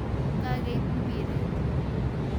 Kageib mbiret